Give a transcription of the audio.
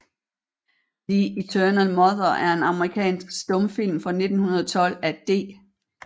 The Eternal Mother er en amerikansk stumfilm fra 1912 af D